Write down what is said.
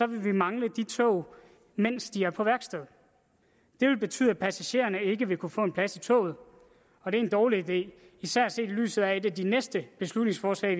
vil vi mangle de tog mens de er på værksted det vil betyde at passagererne ikke vil kunne få en plads i toget og det er en dårlig idé især set i lyset af at et af de næste beslutningsforslag